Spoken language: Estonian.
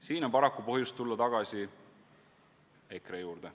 Siin on paraku põhjust tulla tagasi EKRE juurde.